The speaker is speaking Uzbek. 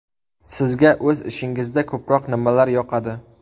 Sizga o‘z ishingizda ko‘proq nimalar yoqadi?